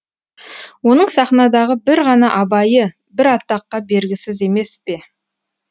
оның сахнадағы бір ғана абайы бір атаққа бергісіз емес пе